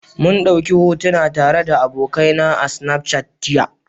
mun dauki hotuna tare da abokaina a Snapchat jiya.